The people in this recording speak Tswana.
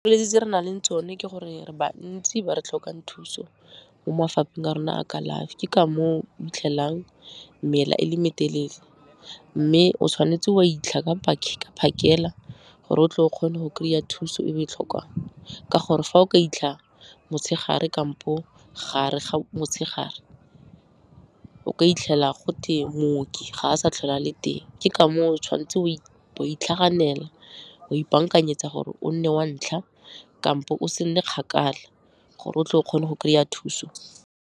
tse re na leng tsone ke gore re bantsi ba re tlhokang thuso mo mafapheng a rona a kalafi, ke ka moo o 'itlhelang mela e le metelele, mme o tshwanetse o a 'itlha ka phakela gore o tle o kgone go kry-a thuso e o e tlhokang, ka gore fa o ka 'itlha motshegare kampo gare ga motshegare, o ka 'itlhela gote mooki ga a sa tlhole a le teng. Ke ka moo o tshwan'tse wa itlhaganela, wa ipankanyetsa gore o nne wa ntlha kampo o se nne kgakala gore o tle o kgone go kry-a thuso.